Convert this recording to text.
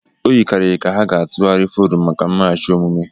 O yikarịrị ka ha ga-atụgharị forum maka mmeghachi omume.